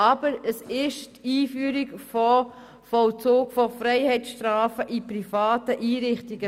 Es geht aber um die Einführung des Vollzugs von Freiheitsstrafen in privaten Einrichtungen.